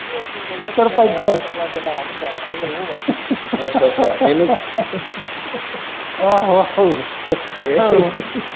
ਉਹ ਕੀ ਕਹਿੰਦੇ ਸਰਪੰਚ ਹੁੰਦਾ ਵਾ ਇਹ ਉਹ ਵਾ ਆਹੋ ਆਹੋ ਇਹ.